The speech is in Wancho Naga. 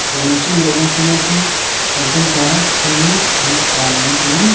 jan nong chima uha chi ngo ku tantong ta seri khenek ta ley ngan tai aa.